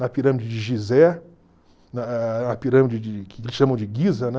Na pirâmide de Gizé, a a a a pirâmide de que eles chamam de Guiza, né?